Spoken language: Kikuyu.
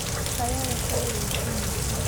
Kayole kwĩ wĩici mũingĩ.